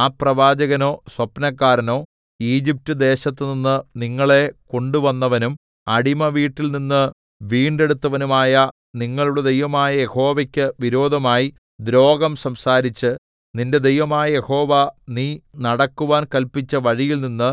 ആ പ്രവാചകനോ സ്വപ്നക്കാരനോ ഈജിപ്റ്റ്ദേശത്തുനിന്ന് നിങ്ങളെ കൊണ്ടുവന്നവനും അടിമവീട്ടിൽനിന്ന് വീണ്ടെടുത്തവനുമായ നിങ്ങളുടെ ദൈവമായ യഹോവയ്ക്ക് വിരോധമായി ദ്രോഹം സംസാരിച്ച് നിന്റെ ദൈവമായ യഹോവ നീ നടക്കുവാൻ കല്പിച്ച വഴിയിൽനിന്ന്